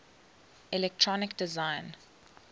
electronic design